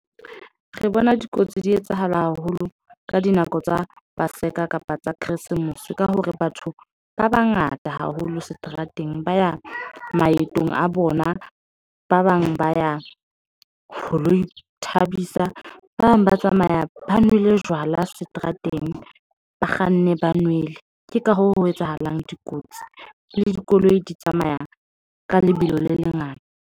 Re bona dikotsi di etsahala haholo ka dinako tsa paseka kapa tsa Keresemose. Ka hore batho ba bangata haholo seterateng ba ya maetong a bona, ba bang ba ya ho lo ithabisa. Ba bang ba tsamaya ba nwele jwala seterateng, ba kganna ba nwele. Ke ka hoo, ho etsahalang, dikotsi le dikoloi di tsamaya ka lebelo le lengata.